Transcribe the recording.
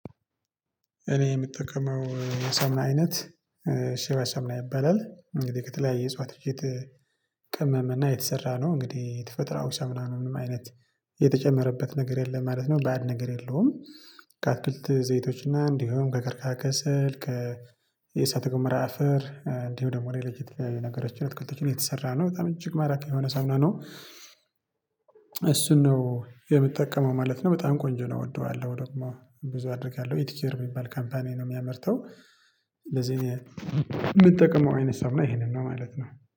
እኔ የምጠቀመው የሳሙና አይነት ሼባ ሳሙና ይባላል እንግዲህ ከተለያየ እጽዋቶች ቅመም እና የተሰራ ነው። እንግዲህ ተፈጥሯዊ ሳሙና ነው ምንም አይነት የተጨመረበት ነገር የለም ማለት ነው። በአድ ነገር የለውም። ከአትክልት ዘይቶችና እንዲሁም ከቀርካ ከስል ከ የእሳተ ጎሞራ አፈር እንዲሁ ደግሞ ሌሎች የተለያየ ነገሮችን እትክልቶችን የተሰራ ነው በጣም እጅግ ማራኪ የሆነ ሳሙና ነው። ነው የምጠቀመው ማለት ነው በጣም ቆንጆ ነው እወደዋለሁ ደግሞ ብዙ አድርጋለሁ ኢት ኬር የሚባል ካምፓኒ ነው የሚያመርተው። ለዚህ የምጠቀመው አይነት ሳሙና ይሄንን ነው ማለት ነው